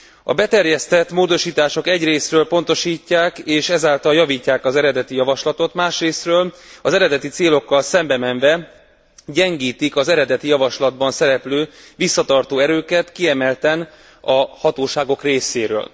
A beterjesztett módosítások egyrészről pontosítják, és ezáltal javítják az eredeti javaslatot, másrészről az eredeti célokkal szembe menve gyengítik az eredeti javaslatban szereplő visszatartó erőket, kiemelten a hatóságok részéről.